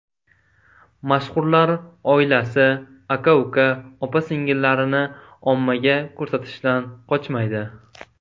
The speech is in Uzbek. Mashhurlar oilasi, aka-uka, opa-singillarini ommaga ko‘rsatishdan qochmaydi.